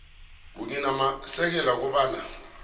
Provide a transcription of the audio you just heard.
kunye namasekela kobana